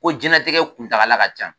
Ko jiyɛn latigɛ kuntagala ka ca.